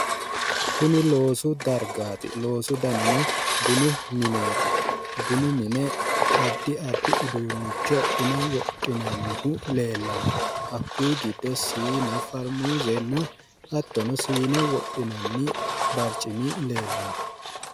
Kuni loosu dargaati loosu danino bunu mineeti bunu mine adi addi uduunnicho buna wodhinannihu leellanno hakkuyi giddo sine farmuuzenna hattono siine wodhinanni barcimi leellanno